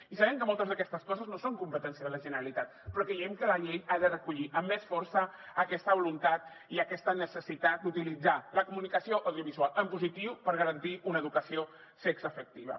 i sabem que moltes d’aquestes coses no són competència de la generalitat però creiem que la llei ha de recollir amb més força aquesta voluntat i aquesta necessitat d’utilitzar la comunicació audiovisual en positiu per garantir una educació sexoafectiva